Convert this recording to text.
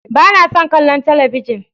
Ba na son kallon talabijin.